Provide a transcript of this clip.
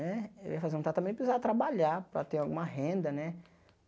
Né eu ia fazer um tratamento precisava trabalhar para ter alguma renda, né?